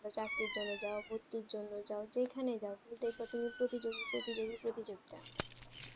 চাকরি জন্য জাও পড়তে জন্য জাও যেখানে জাও তুমি দেখো প্রতিযোগী প্রতিযোগী প্রতিযোগী